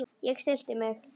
Ég stilli mig.